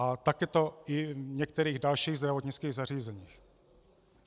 A tak je to i v některých dalších zdravotnických zařízeních.